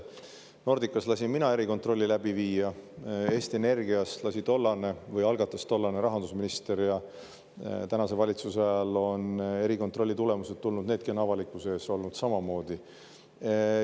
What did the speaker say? Nordicas lasin mina erikontrolli läbi viia, Eesti Energias algatas selle tollane rahandusminister ja praeguse valitsuse ajal on erikontrolli tulemused tulnud, needki on avalikkuse ees olnud samamoodi.